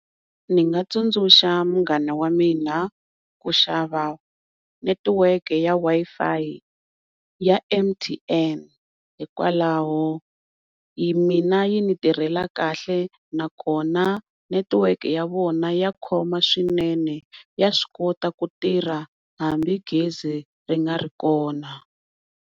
Ni nga tsundzuxa munghana wa mina ku xava network ya Wi-Fi ya M_T_N hikwalaho mina yi ni tirhela kahle na kona network ya vona ya khoma swinene ya swi kota ku tirha hambi gezi ri nga ri kona.